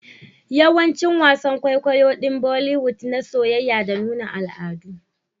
Dayawa wasan kwaikwayon kwaikwayo din boliwood na soyayya da nuna al'adu